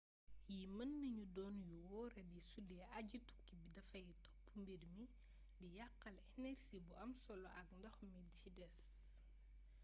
yii mën nañu doon yu wooradi sudee aji-tukki bi dafay topp miir bi di yaqaale enersi bu am solo ak ndox mi ci des